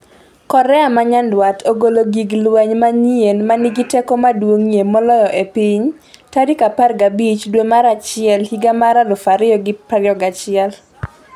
Korea ma Nyanduat ogolo gig lweny manyien 'ma nigi teko maduong'ie moloyo e piny' tarik 15 dwe mar achiel higa mar 2021